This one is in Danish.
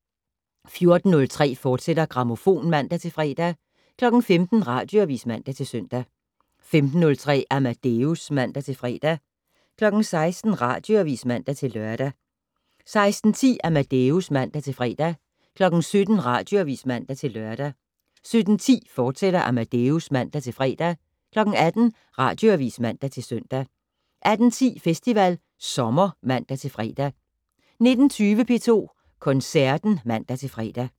14:03: Grammofon, fortsat (man-fre) 15:00: Radioavis (man-søn) 15:03: Amadeus (man-fre) 16:00: Radioavis (man-lør) 16:10: Amadeus (man-fre) 17:00: Radioavis (man-lør) 17:10: Amadeus, fortsat (man-fre) 18:00: Radioavis (man-søn) 18:10: Festival Sommer (man-fre) 19:20: P2 Koncerten (man-fre)